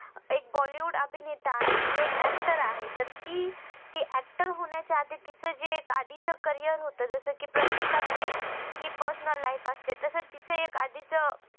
एक bollywood अभिनेता आहे. म्हणजे एक actor आहे. तर ती ती actor होण्याच्या तीच जे आधीच career होत जस कि प्रत्येकाची हि personal life असते, तसच तीच एक आधीच